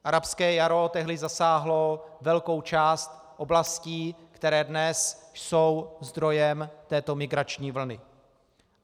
Arabské jaro tehdy zasáhlo velkou část oblastí, které dnes jsou zdrojem této migrační vlny.